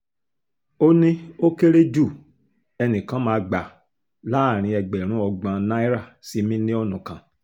ó ní ó kéré ju ẹnì kan máa gbà láàrin ẹgbẹ̀rún ọgbọ̀n náírà sí mílíọ̀nù kan